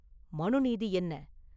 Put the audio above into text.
மனு நீதி என்ன?